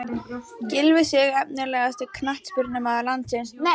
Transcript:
Gylfi Sig Efnilegasti knattspyrnumaður landsins?